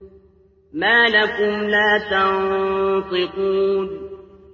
مَا لَكُمْ لَا تَنطِقُونَ